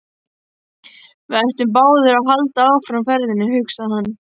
Við ættum báðir að halda áfram ferðinni, hugsaði hann.